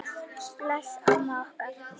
Bless amma okkar.